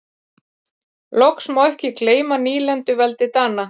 Loks má ekki gleyma nýlenduveldi Dana.